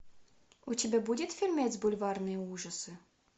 у тебя будет фильмец бульварные ужасы